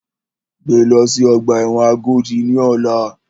Gbé lọ sí ọgbà ẹ̀wọ̀n Agodi ní ọ̀la!